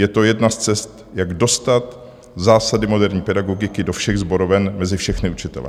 Je to jedna z cest, jak dostat zásady moderní pedagogiky do všech sboroven, mezi všechny učitele.